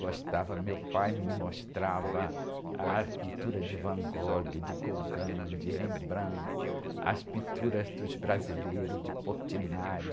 Gostava, meu pai me mostrava as pinturas de Van Gogh, de Gauguin, de Rembrandt, as pinturas dos brasileiros, de Portinari.